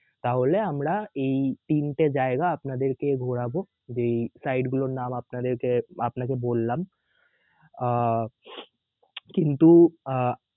তাহলে আমরা এই তিনটা জায়গা আপনাদেরকে ঘুরাব যেই site গুলোর নাম আপনাদেরকে আপনাকে বললাম আহ কিন্তু আহ